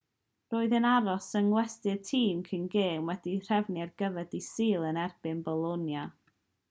roedd e'n aros yng ngwesty'r tîm cyn gêm wedi'i threfnu ar gyfer dydd sul yn erbyn bolonia